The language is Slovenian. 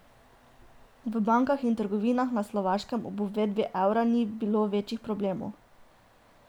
V bankah in trgovinah na Slovaškem ob uvedbi evra ni bilo večjih problemov.